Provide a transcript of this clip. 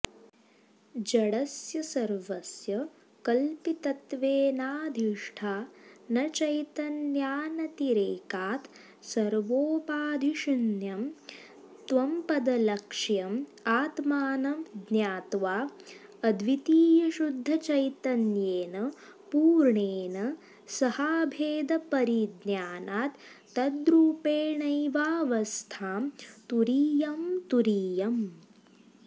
जडस्य सर्वस्य कल्पितत्वेनाधिष्ठानचैतन्यानतिरेकात् सर्वोपाधिशून्यं त्वम्पदलक्ष्यम् आत्मानं ज्ञात्वा अद्वितीयशुद्धचैतन्येन पूर्णेन सहाभेदपरिज्ञानात् तद्रूपेणैवावस्थां तुरीयतुरीयम्